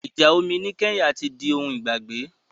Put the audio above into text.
Ìjà omi ní Kenya ti di ohun ìgbàgbé.